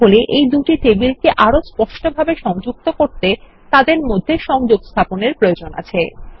তাহলে এই দুটি টেবিলকে আরো স্পষ্টভাবে সংযুক্ত করতে তাদের মধ্যে সংযোগ স্থাপনের প্রয়োজন আছে